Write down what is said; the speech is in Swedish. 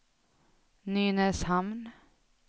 Nynäshamn